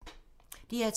DR2